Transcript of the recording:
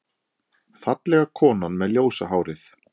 Fallega konan með ljósa hárið.